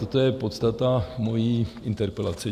Toto je podstata mojí interpelace.